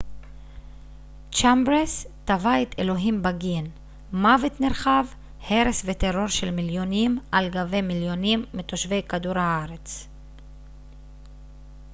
צ'מברס תבע את אלוהים בגין מוות נרחב הרס וטרור של מיליונים על גבי מיליונים מתושבי כדור הארץ